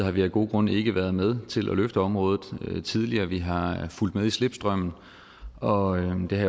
har vi af gode grunde ikke været med til at løfte området tidligere vi har fulgt med i slipstrømmen og det